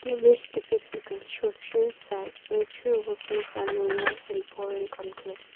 the image depicts a construction site where two workers on a walk in pouring concrete.